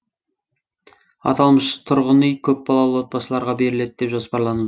аталмыш тұрғын үй көпбалалы отбасыларға беріледі деп жоспарлан